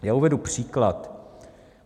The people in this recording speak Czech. Já uvedu příklad.